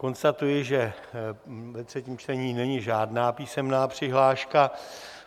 Konstatuji, že ve třetím čtení není žádná písemná přihláška.